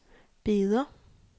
Beder